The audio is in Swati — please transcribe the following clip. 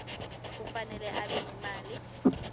kufanele abe nemali